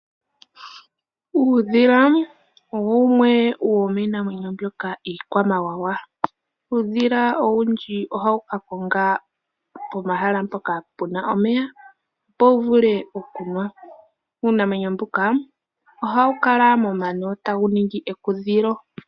Uudhila owo wumwe womiinamwenyo mbyoka iikwamawawa. Uudhila owundji ohawu kakonga pomahala mpoka puna omeya wuvule okunwa. Uunamwenyo mbuka ohawu kala momano tawu ningi ekudhilo.